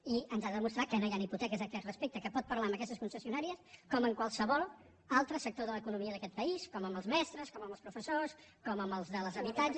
i ens ha de demostrar que no hi han hipoteques a aquest respecte que pot parlar amb aquestes concessionàries com amb qualsevol altre sector de l’economia d’aquest país com amb els mestres com amb els professors com amb els dels habitatges